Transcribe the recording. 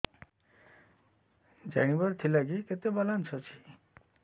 ଜାଣିବାର ଥିଲା କି କେତେ ବାଲାନ୍ସ ଅଛି